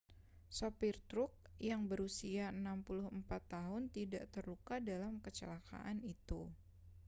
sopir truk yang berusia 64 tahun tidak terluka dalam kecelakaan itu